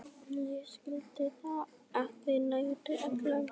Ég skildi þau ekki nærri öll.